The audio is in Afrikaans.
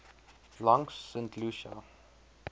langs st lucia